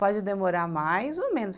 Pode demorar mais ou menos.